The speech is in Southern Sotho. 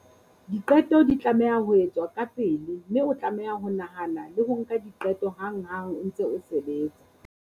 Diqeto di tlameha ho etswa kapele mme o tlameha ho nahana le ho nka diqeto hanghang o ntse o sebetsa.